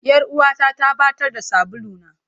Yar uwata ta ɓatar da sabuluna.